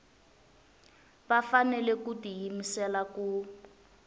va fanele ku tiyimisela ku